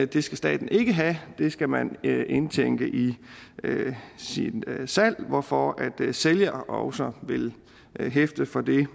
det skal staten ikke have det skal man indtænke i sit salg hvorfor sælger nu også vil hæfte for det